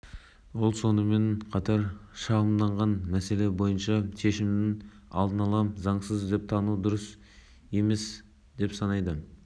бұл сұмдық жағдай мен мәселені шешемін кездейсоқ жағдай емес адамдар мұндай қадамға шарасыздықтан жергілікті жерлерде олардың проблемасына құлақ асар ешкім болмаған